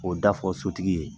K'o da fɔ sotigi ye.